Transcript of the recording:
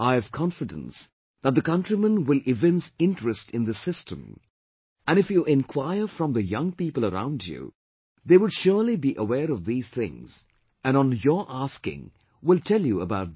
I have confidence that the countrymen will evince interest in this system and if you enquire from the young people around you, they would surely be aware of these things and on your asking will tell you about these